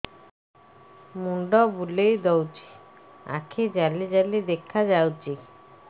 ମୁଣ୍ଡ ବୁଲେଇ ଦଉଚି ଆଖି ଜାଲି ଜାଲି ଦେଖା ଯାଉଚି